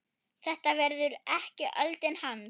Þetta verður ekki öldin hans.